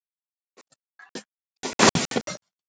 Hvað er fengið með að gera allt svona hratt!